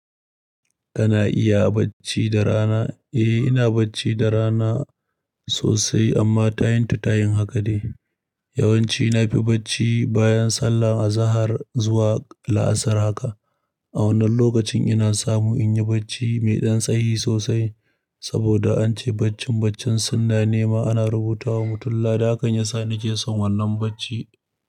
Kana iya bacci da rana? Eh, ina bacci da rana sosai amma tayin ta tayin haka ne. Yawanci na fi bacci bayan sallah a zahar zuwa la'asar haka. A wannan lokacin ina samu in yi bacci mai dan tsayi sosai saboda an ce baccin baccin sunna ne ma ana rubuta wa mutum la. Hakan ya sa na ke son wannan bacci.